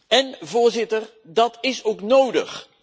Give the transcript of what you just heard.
En, Voorzitter, dat is ook nodig.